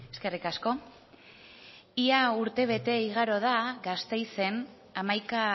eskerrik asko ia urtebete igaro da gasteizen hamaika